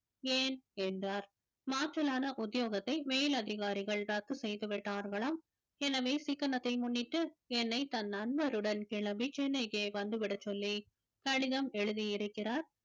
ஏன் என்றார் மாற்றலான உத்தியோகத்தை மேலதிகாரிகள் ரத்து செய்து விட்டார்களாம் எனவே சிக்கணத்தை முன்னிட்டு என்னை தன் நண்பருடன் கிளம்பி சென்னைக்கு வந்துவிடச்சொல்லி கடிதம் எழுதியிருக்கிறார்